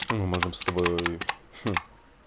мы можем с тобой